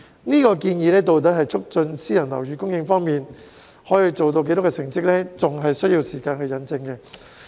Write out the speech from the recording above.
這項建議在促進私人樓宇供應方面可以做到多少，成績仍有待時間引證。